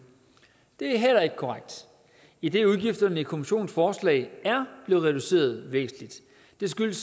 det er heller ikke korrekt idet udgifterne i kommissionens forslag er blevet reduceret væsentligt det skyldes